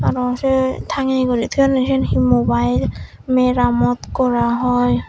aro sei tangeye guri toyonney siyen hi mobile meramot gora oi.